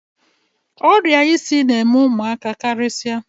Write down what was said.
Ọrịa isi na-eme ụmụaka karịsịa.